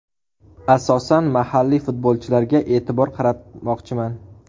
Asosan mahalliy futbolchilarga e’tibor qaratmoqchiman.